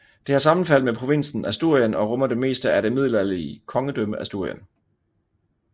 Det har sammenfald med provinsen Asturien og rummer det meste af det middelalderlige kongedømme Asturien